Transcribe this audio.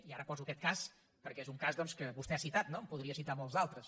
i ara poso aquest cas perquè és un cas doncs que vostè ha citat no en podria citar molts d’altres